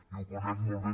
i ho conec molt bé